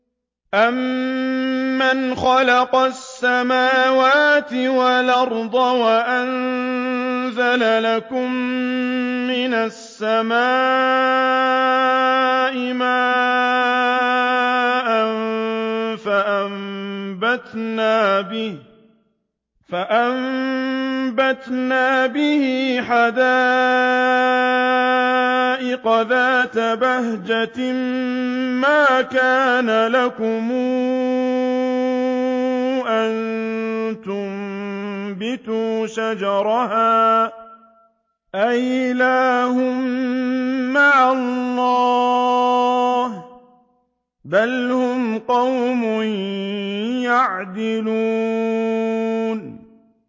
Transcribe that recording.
أَمَّنْ خَلَقَ السَّمَاوَاتِ وَالْأَرْضَ وَأَنزَلَ لَكُم مِّنَ السَّمَاءِ مَاءً فَأَنبَتْنَا بِهِ حَدَائِقَ ذَاتَ بَهْجَةٍ مَّا كَانَ لَكُمْ أَن تُنبِتُوا شَجَرَهَا ۗ أَإِلَٰهٌ مَّعَ اللَّهِ ۚ بَلْ هُمْ قَوْمٌ يَعْدِلُونَ